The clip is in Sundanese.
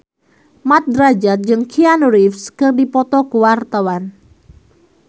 Mat Drajat jeung Keanu Reeves keur dipoto ku wartawan